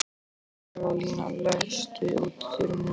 Mikaelína, læstu útidyrunum.